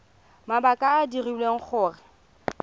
mabaka a a dirileng gore